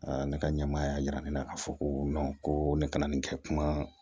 ne ka ɲɛmaaya yira ne la k'a fɔ ko ko ne kana nin kɛ kuma